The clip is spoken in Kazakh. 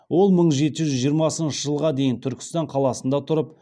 ол мың жеті жүз жиырмасыншы жылға дейін түркістан қаласында тұрып